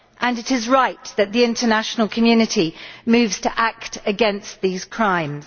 It is right that the international community moves to act against these crimes.